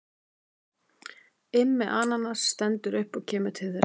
Immi ananas stendur upp og kemur til þeirra.